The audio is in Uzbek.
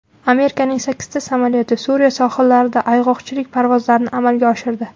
Amerikaning sakkizta samolyoti Suriya sohillarida ayg‘oqchilik parvozlarini amalga oshirdi.